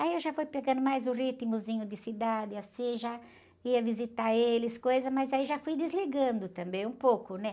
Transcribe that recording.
Aí eu já fui pegando mais o ritmozinho de cidade, assim, já ia visitar eles, coisa, mas aí já fui desligando também um pouco, né?